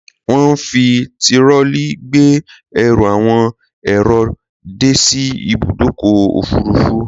Wọn ń fi tirọlí gbé ẹrù àwọn èrò dé sí ìbùdókọ̀ òfurufú